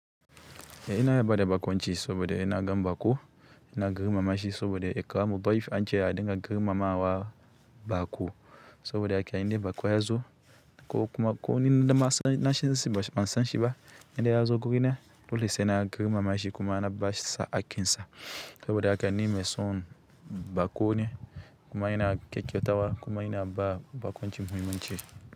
Ena ina iya bada bakonchi saboda inna gan baƙo, ina girma mashi sabode ekamu boyf anche a dinga girmamawa baƙo. Sobode aka inde baƙo yazo ko kuma ko nininda masanashi sibasanshiba, inde yazo gurina dole sena girma mashi kuma na bashi sa akinsa. Sobode haka ni mai son bakone kuma ena kekewtawa kuma ena ba bakonchi muhimu nche.